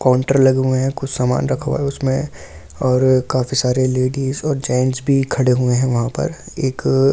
counter लगे हुए है कुछ सामान रखा हुआ है उसमे और काफ़ी सारी लेडिज और जेन्ट्स भी खड़े हुए है वहाँ पर एक औल अब--